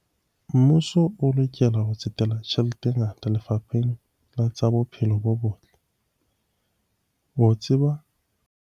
Mmuso o lokela ho tsetela tjhelete e ngata lefapheng la tsa bophelo bo botle ho tseba.